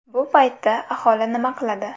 Bu paytda aholi nima qiladi?